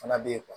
Fana bɛ yen